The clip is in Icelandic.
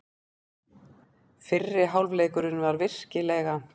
Fyrri hálfleikurinn var virkilega.